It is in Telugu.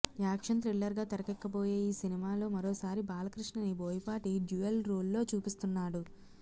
యాక్షన్ థ్రిల్లర్ గా తెరకెక్కబోయే ఈ సినిమాలో మరోసారి బాలకృష్ణని బోయపాటి డ్యూయల్ రోల్ లో చూపిస్తున్నాడు